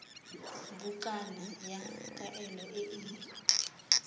bukana ya kaelo e e